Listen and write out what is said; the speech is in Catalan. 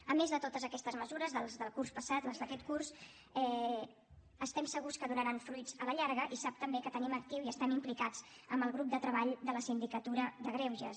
a més de totes aquestes mesures del curs passat les d’aquest curs estem segurs que donaran fruits a la llarga i sap també que tenim actiu i estem implicats en el grup de treball de la sindicatura de greuges